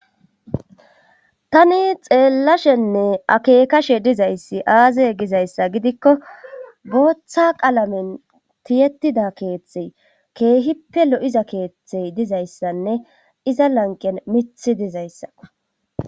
tani xeellashenne akeekashe dizayssi aazay gizayssa gidikko booththa qalamen tiyetida keeththey keehippe lo7iza keeththey dizayssanne iza lanqen mithi dizayssa